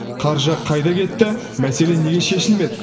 қаржы қайда кетті мәселе неге шешілмеді